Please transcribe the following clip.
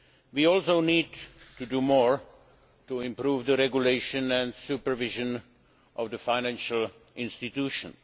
We also need to do more to improve the regulation and supervision of financial institutions.